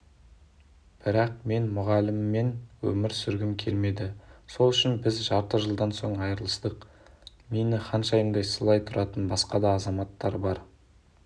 бірақ мен мұғаліммен өмір сүргім келмеді сол үшін біз жарты жылдан соң айырылыстық мені ханшайымдай сыйлап тұратын басқа да азаматтар бар